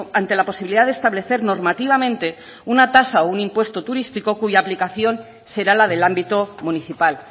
ante la posibilidad de establecer normativamente una tasa o un impuesto turístico cuya aplicación será la del ámbito municipal